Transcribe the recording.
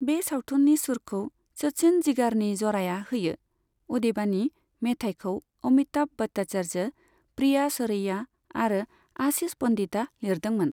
बे सावथुननि सुरखौ सचिन जिगारनि ज'राया होयो, अदेबानि मेथाइखौ अमिताभ भट्टाचार्य, प्रिया सरैया आरो आशीष पन्डितआ लिरदोंमोन।